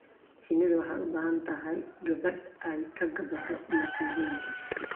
Shinnidu waxay u baahan tahay gabaad ay ka gabbado masiibooyinka.